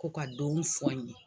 Ko ka dɔɔni fɔ an ye.